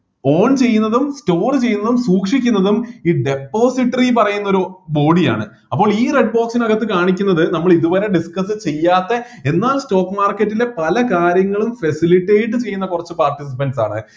own ചെയ്യുന്നതും store ചെയ്യുന്നതും സൂക്ഷിക്കുന്നതും ഈ depository പറയുന്ന ഒരു body യാണ് അപ്പോൾ ഈ red box നികത്ത് കാണിക്കുന്നത് നമ്മള് ഇതുവരെ discuss ചെയ്യാത്ത എന്നാൽ stock market ലെ പല കാര്യങ്ങളും facilitate ചെയ്യുന്ന കുറച്ച് participants ആണ്